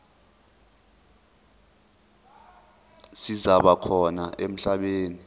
zisaba khona emhlabeni